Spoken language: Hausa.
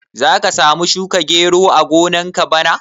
Za ka samu shuka gero a gonar ka bana?